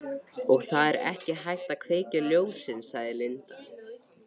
Linda: Og það er ekki hægt að kveikja ljósin?